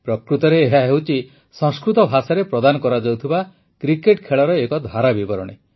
ପ୍ରକୃତରେ ଏହା ହେଉଛି ସଂସ୍କୃତ ଭାଷାରେ ପ୍ରଦାନ କରାଯାଉଥିବା କ୍ରିକେଟ ଖେଳର ଧାରା ବିବରଣୀ